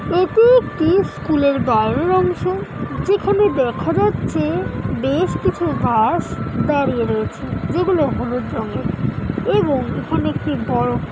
এটি একটি স্কুলের বাইরের অংশ যেখানে দেখা যাচ্ছে-এ বেশ কিছু বাস দাঁড়িয়ে রয়েছে যেগুলো হলুদ রঙের এবং এখানে একটি বড়ো --